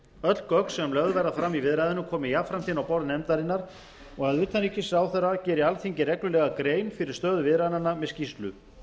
öll gögn sem lögð verða fram í viðræðunum komi jafnframt inn á borð nefndarinnar og að utanríkisráðherra geri alþingi reglulega grein fyrir stöðu viðræðnanna með skýrslu